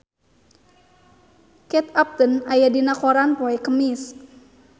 Kate Upton aya dina koran poe Kemis